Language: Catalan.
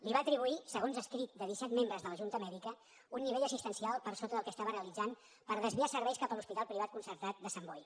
li va atribuir segons escrit de disset membres de la junta mèdica un nivell assistencial per sota del que estava realitzant per desviar serveis cap a l’hospital privat concertat de sant boi